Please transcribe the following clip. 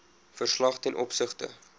verslag ten opsigte